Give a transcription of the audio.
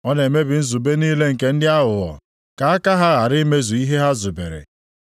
Ọ na-emebi nzube niile nke ndị aghụghọ, ka aka ha ghara imezu ihe ha zubere.